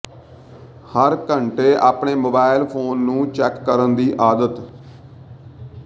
ਹਰ ਘੰਟੇ ਆਪਣੇ mobile phone ਨੂੰ ਚੈਕ ਕਰਨ ਦੀ ਆਦਤ